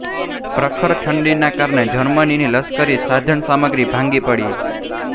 પ્રખર ઠંડીનાં કારણે જર્મનીની લશ્કરી સાધનસામગ્રી ભાંગી પડી